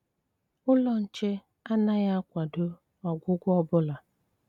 Úlọ́ Nché ánághì akwádó ọgwụ́gwọ ọ́ bụ́lá.